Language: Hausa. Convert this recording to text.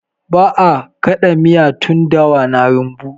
Ba'a ã kada miya tun dawa na rumbu.